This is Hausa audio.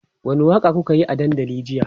wani Waka kukayi a dandali jiya?